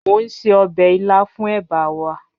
Mo n se ọbẹ ila fun eba wa